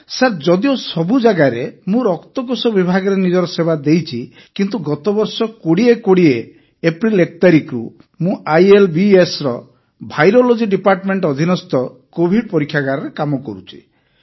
sir ଯଦିଓ ସବୁ ଜାଗାରେ ମୁଁ ରକ୍ତକୋଷ ବିଭାଗରେ ନିଜର ସେବା ଦେଇଛି କିନ୍ତୁ ଗତ ବର୍ଷ 2020 ଏପ୍ରିଲ 1 ତାରିଖରୁ ମୁଁ ଆଇଏଲବିଏସର ଭାଇରୋଲୋଜି ଡିପାର୍ଟମେଣ୍ଟ ଅଧୀନସ୍ଥ କୋଭିଡ ପରୀକ୍ଷାଗାରରେ କାମ କରୁଛି